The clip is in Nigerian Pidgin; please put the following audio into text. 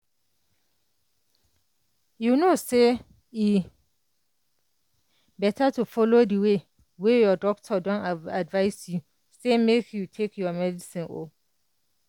u know say e better to follow di way wey your doctor don advise say make you take your medicine o